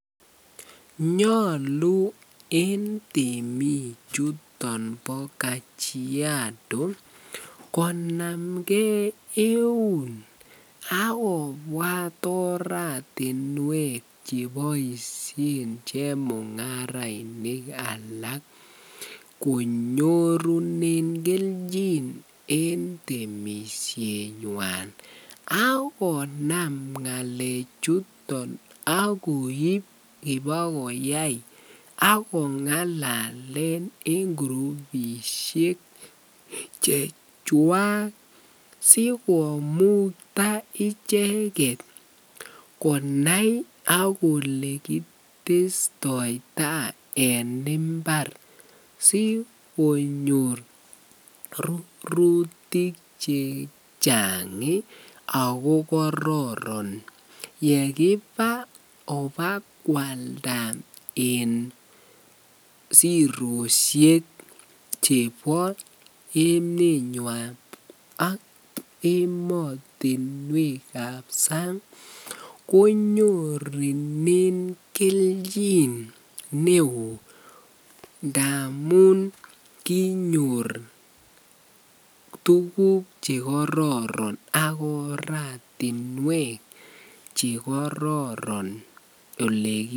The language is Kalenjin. Nyolu en temii chuton bo kajiado konamnge euun ak kobwat oratinwek cheboishen chemungaraishek alak konyorunen kelchin en temishenywan ak konam ngalechuton ak koib ibakoyai ak ko ngalalen en kurubishek chechwak sikomukta icheket konai ak olekitestoita en imbar sikonyor rurutik chechang ak ko kororon yekiba ibakwalda en siroshek chebo emenywan ak emotinwekab sang konyorunen kelchin neoo ndamun kinyor tukuk chekororon ak oratinwek chekororon olee.